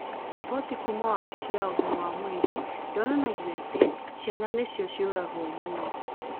Riboti kuuma wabici ya ũgima wa mwĩrĩ yonanagia atĩ ciana nĩcio ciũragwo mũno.